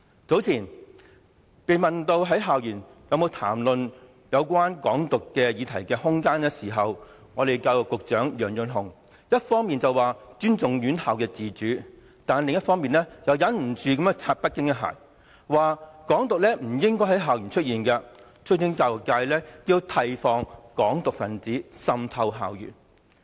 早前，當被問及在校園談論有關"港獨"議題的空間時，教育局局長楊潤雄一方面表示尊重院校自主，但另一方面又按捺不住向北京拍馬屁，說"港獨"不應在校園出現，促請教育界要提防"港獨"分子滲透校園。